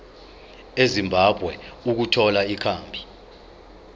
ezimbabwe ukuthola ikhambi